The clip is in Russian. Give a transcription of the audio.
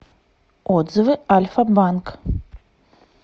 отзывы альфа банк